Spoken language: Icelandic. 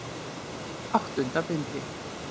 Áttunda bindi.